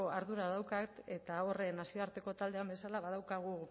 ardura daukat eta hor nazioarteko taldean bezala badaukagu